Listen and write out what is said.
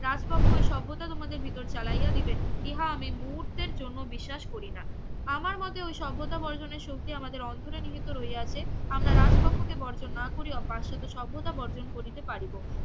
রাজকক্ষ এই সভ্যতা তোমাদের ভিতর চালাইয়া দিবেন ইহা আমি মুহূর্তের জন্য বিশ্বাস করি না আমার মতে ওই সভ্যতা বর্জনের শক্তি আমাদের অন্তরে নিহিত রইয়াছে আমরা রাজকক্ষ কে বর্জন না করিয়াও পাশ্চাত্য সর্বদা বর্জন করিতে পারিব